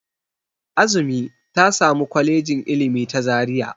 Azumi ta sami Kwalejin Ilimi ta Zaria.